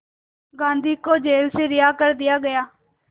गांधी को जेल से रिहा कर दिया गया